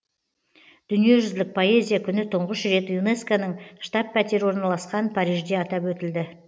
дүниежүзілік поэзия күні тұңғыш рет юнеско ның штаб пәтері орналасқан парижде атап өтілді